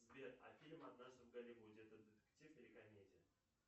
сбер а фильм однажды в голливуде это детектив или комедия